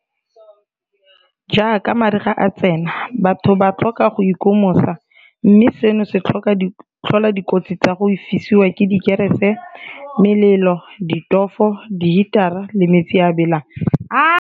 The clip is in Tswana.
Jaaka mariga a tsena batho ba tlhoka go ikomosa, mme seno se tlhola dikotsi tsa go fisiwa ke dikerese, melelo, ditofo, dihitara le metsi a a belang.